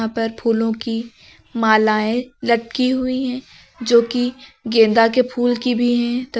यहाँ पर फूलों की मालाएं लटकी हुई है जो की गेंदा के फूल की भी है त--